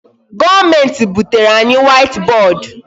Government butere anyị white board.